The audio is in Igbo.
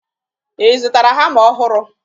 Ị zụtara hama ọhụrụ?